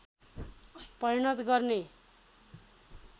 परिवर्तन गर्ने